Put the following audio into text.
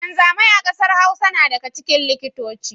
Wanzamai a kasar Hausa na daga cikin likitoci.